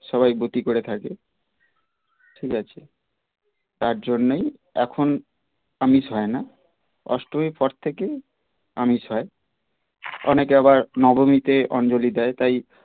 সবাই ধুতি পরে থাকে ঠিক আছে তার জন্যই এখন আমিষ হয় না অষ্টমীর পর থেকে আমিষ হয় অনেকে আবার নবমীতে অঞ্জলি দেয় তাই